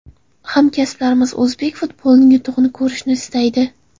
Hamkasblarimiz o‘zbek futbolining yutug‘ini ko‘rishni istaydi.